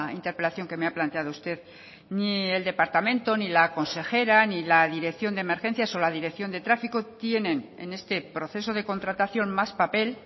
interpelación que me ha planteado usted ni el departamento ni la consejera ni la dirección de emergencias o la dirección de tráfico tienen en este proceso de contratación más papel